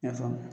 I y'a faamu